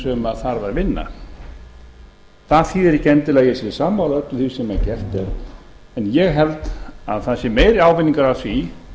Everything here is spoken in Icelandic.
sem þarf að vinna það þýðir ekki endilega að ég sé sammála öllu því sem gert er en ég held að það sé meiri ávinningur af því